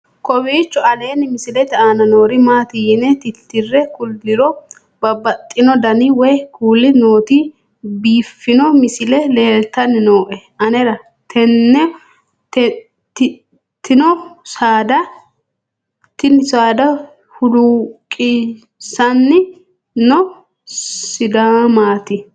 kowiicho aleenni misilete aana noori maati yine titire kulliro babaxino dani woy kuuli nooti biiffanno misile leeltanni nooe anera tino saada huluuqisiisanni noo sidaamati